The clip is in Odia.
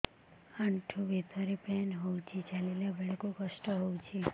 ଆଣ୍ଠୁ ଭିତରେ ପେନ୍ ହଉଚି ଚାଲିଲା ବେଳକୁ କଷ୍ଟ ହଉଚି